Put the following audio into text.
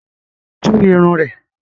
Tú irun rẹ̀!